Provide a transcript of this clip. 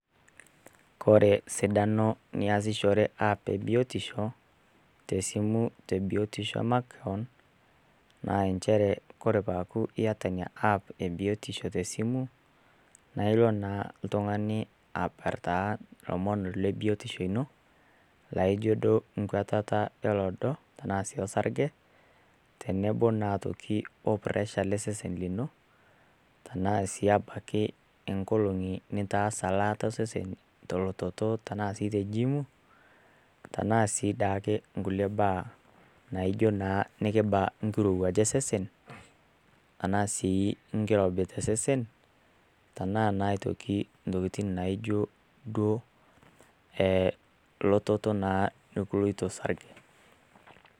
Kore sidano niasishore app e biotisho te esimu te biotisho e makewon naa nchere Kore pee eku iata Ina app te esimu naa ilo naa l'tungani abartaa oltung'ani ilomon le biotisho ino laijo duo nkwatata olodo, anaa sii osarge tenebo naa aitoki o puresha le sesen lino, anaa sii abaiki inkolong'i nitaasa elaata o sesen tolototo anaa sii te jiim tanaa sii daake inkulie baa naijo naa enekibaa enkirouwaj osesen anaa sii enkirobi te sesen tanaa naa intokitin naijo duo elototo naa nekiloito sarge.